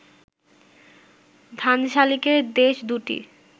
ধানশালিকের দেশ ২টি